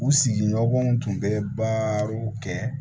U sigiɲɔgɔnw tun bɛ baaraw kɛ